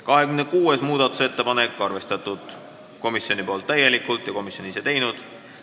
26. muudatusettepanekut on komisjon täielikult arvestanud ja komisjon on selle ise teinud.